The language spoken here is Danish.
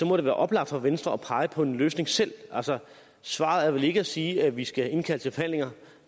må det være oplagt for venstre at pege på en løsning selv svaret er vel ikke at sige at vi skal indkalde til forhandlinger